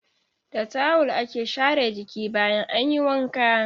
Da tawul ake share jiki bayan an yi wanka.